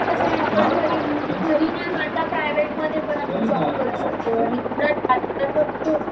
त्याचा कस आहे घरी न करता प्राइवेट मध्ये जॉब करू शकतो आणि तो